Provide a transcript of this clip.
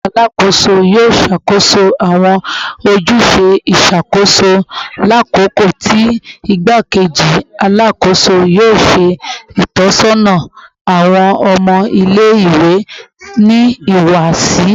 Alakoso yoo ṣakoso awọn ojuse iṣakoso lakoko ti Igbakeji Alakoso yoo ṣe itọsọna awọn ọmọ ile-iwe ni ihuwasi